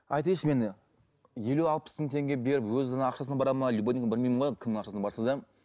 айтайыншы мен елу алпыс мың теңге беріп өзінің ақшасына барады ма любой білмеймін ғой кімнің ақшасына барса да